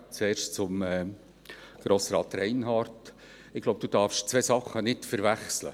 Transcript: Zuerst zu Grossrat Reinhard: Ich glaube, du darfst zwei Sachen nicht verwechseln.